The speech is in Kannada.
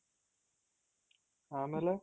ಆಮೇಲೆ?